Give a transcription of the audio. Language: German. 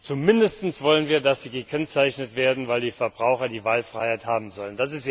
Zumindest wollen wir, dass sie gekennzeichnet werden, weil die Verbraucher die Wahlfreiheit haben sollen.